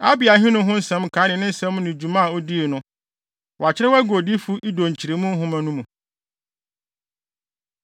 Abia ahenni ho nsɛm nkae ne ne nsɛm ne dwuma a odii no, wɔakyerɛw agu Odiyifo Ido Nkyeremu Nhoma no mu.